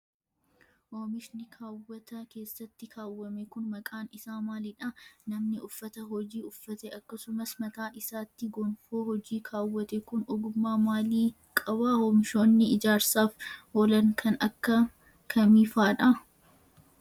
Oomishni kaawwata keessatti kaawwame kun maqaan isaa maalidha? Namni uffata hojii uffate akkasumas mataa isaatti gonfoo hojii kaawwate kun ,ogummaa maalii qaba? Oomishooni ijaarsaaf oolan kan akka kamii faa dha?